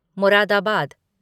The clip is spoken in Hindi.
मुरादाबाद